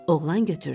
Oğlan götürdü.